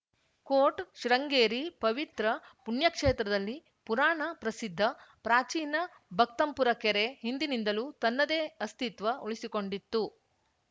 coat Sringeri ಪವಿತ್ರ ಪುಣ್ಯಕ್ಷೇತ್ರದಲ್ಲಿ ಪುರಾಣ ಪ್ರಸಿದ್ಧ ಪ್ರಾಚೀನ ಭಕ್ತಂಪುರ ಕೆರೆ ಹಿಂದಿನಿಂದಲೂ ತನ್ನದೇ ಅಸ್ತಿತ್ವ ಉಳಿಸಿಕೊಂಡಿತ್ತು